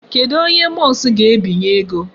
Kedụ onye Musk ga-ebinye ego?